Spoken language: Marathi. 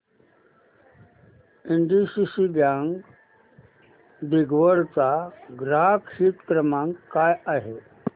एनडीसीसी बँक दिघवड चा ग्राहक हित क्रमांक काय आहे